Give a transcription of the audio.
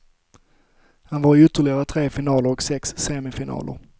Han var i ytterligare tre finaler och sex semifinaler.